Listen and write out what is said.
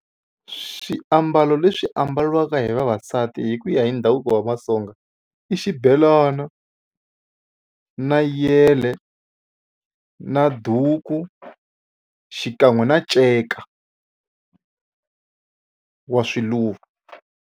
Swiambalo leswi ambariwaka hi vavasati hi ku ya hi ndhavuko wa Vatsonga i xibelana na yele na duku xikan'we na nceka wa swiluva.